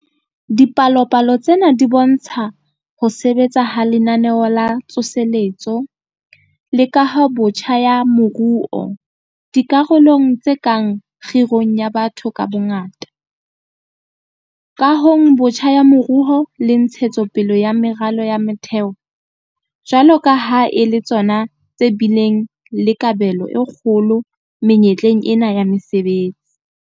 Dipalopalo tsena di bo ntsha ho sebetsa ha Lenaneo la Tsoseletso le Kahobotjha ya Moruo - dikarolong tse kang kgirong ya batho ka bongata, kahong botjha ya moruo le ntshetso pele ya meralo ya motheo - jwalo ka ha e le tsona tse bileng le kabelo e kgolo menyetleng ena ya mesebetsi.